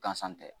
Gansan tɛ